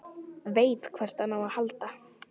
Veit hvert hann á að halda.